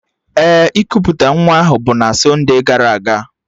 Ee, ikuputa nwa ahụ bụ na sonde gara aga